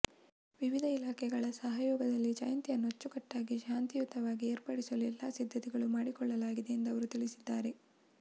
ವಿವಿಧ ಇಲಾಖೆಗಳ ಸಹಯೋಗದಲ್ಲಿ ಜಯಂತಿಯನ್ನು ಅಚ್ಚುಕಟ್ಟಾಗಿ ಶಾಂತಿಯುತವಾಗಿ ಏರ್ಪಡಿಸಲು ಎಲ್ಲ ಸಿದ್ಧತೆಗಳು ಮಾಡಿಕೊಳ್ಳಲಾಗಿದೆ ಎಂದು ಅವರು ತಿಳಿಸಿದ್ದಾರೆ